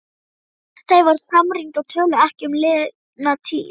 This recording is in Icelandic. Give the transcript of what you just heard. Þau voru samrýnd og töluðu ekki um liðna tíð.